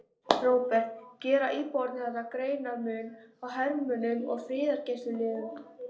Róbert: Gera íbúarnir þarna greinarmun á hermönnum og friðargæsluliðum?